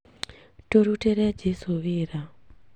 Tũrutĩre jesũ wĩra